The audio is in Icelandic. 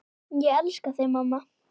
Ég elska þig mamma.